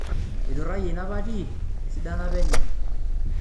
Eiturayie ina pati esidano apa enye.